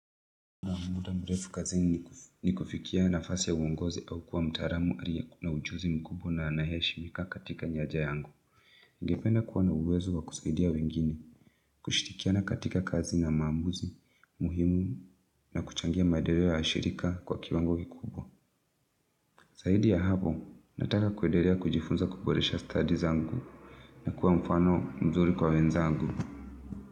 Muda mrefu kazini ni kufikia nafasi ya uongozi au kuwa mtaalam aliyekuwa na ujuzi mkubwa na anaheshimika katika nyaja yangu. Ningependa kuwa na uwezo wa kusaidia wengine, kushirikiana katika kazi na maamuzi, muhimu na kuchangia maendeleo ya shirika kwa kiwango kikubwa. Zaidi ya hapo, nataka kuendelea kujifunza kuboresha stadi zangu na kuwa mfano mzuri kwa wenzangu.